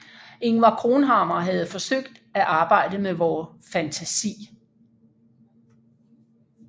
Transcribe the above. Ingvar Cronhammar havde forsøgt at arbejde med vor fantasi